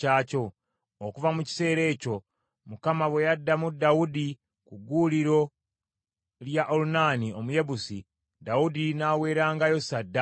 Okuva mu kiseera ekyo, Mukama bwe yaddamu Dawudi ku gguuliro lya Olunaani Omuyebusi, Dawudi n’aweerangayo ssaddaaka eyo.